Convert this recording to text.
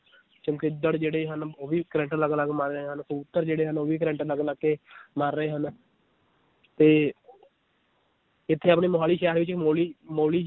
ਚਮਗਿੱਦੜ ਜਿਹੜੇ ਹਨ ਉਹ ਵੀ ਕਰੰਟ ਲਗ ਲਗ ਮਰ ਰਹੇ ਹਨ ਕਬੂਤਰ ਜਿਹੜੇ ਹਨ ਉਹ ਵੀ ਕਰੰਟ ਲਗ ਲਗ ਕੇ ਮਰ ਰਹੇ ਹਨ ਤੇ ਇਥੇ ਆਪਣੇ ਮੋਹਾਲੀ ਸ਼ਹਿਰ ਵਿਚ ਇੱਕ ਮੋਲੀ ਮੋਲੀ